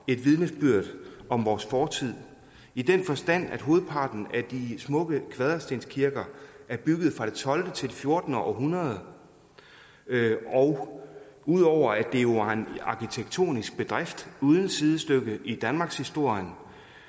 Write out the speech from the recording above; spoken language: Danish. vidnesbyrd om vores fortid i den forstand at hovedparten af de smukke kvaderstenskirker er bygget fra det tolvte til det fjortende århundrede og ud over at det jo er en arkitektonisk bedrift uden sidestykke i danmarkshistorien